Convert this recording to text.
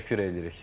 Təşəkkür edirik.